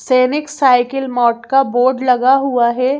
सैनिक साइकिल मोड का बोर्ड लगा हुआ है।